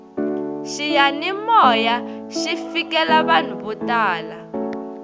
xiyanimoya xi fikelela vanhu vo tala